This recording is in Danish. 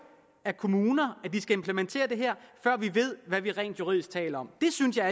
af kommuner at de skal implementere det her og før vi ved hvad vi rent juridisk taler om det synes jeg